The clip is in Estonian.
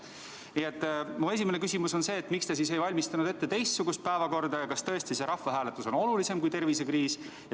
Nii et mu esimene küsimus on see, miks te siis ei valmistanud ette teistsugust päevakorda ja kas tõesti see rahvahääletus on olulisem kui tervisekriis.